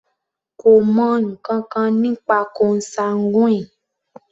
Kò mọ ǹkankan nípa consanguine.